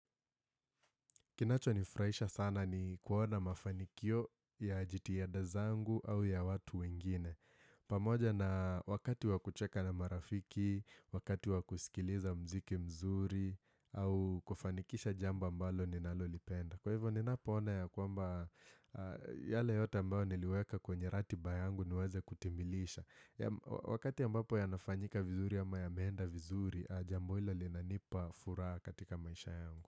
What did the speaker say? Kinacho nifurahisha sana ni kuona mafanikio ya jitihada zangu au ya watu wengine. Pamoja na wakati wakucheka na marafiki, wakati wakusikiliza mziki mzuri au kufanikisha jambo ambalo ninalolipenda. Kwa hivyo ninapoona ya kwamba yale yote ambao niliweka kwenye ratiba yangu niweze kutimilisha. Wakati ya ambapo yanafanyika vizuri ama yameenda vizuri, jambo hilo linanipa furaha katika maisha yangu.